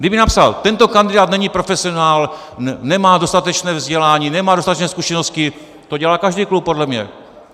Kdyby napsal: tento kandidát není profesionál, nemá dostatečné vzdělání, nemá dostatečné zkušenosti - to dělá každý klub podle mě.